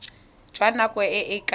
jwa nako e e ka